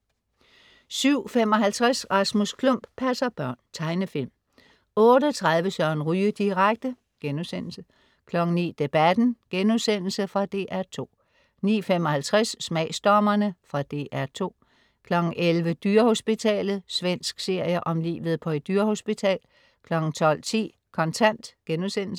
07.55 Rasmus Klump passer børn. Tegnefilm 08.30 Søren Ryge direkte* 09.00 Debatten.* Fra DR2 09.55 Smagsdommerne.* Fra DR2 11.00 Dyrehospitalet. Svensk serie om livet på et dyrehospital 12.10 Kontant*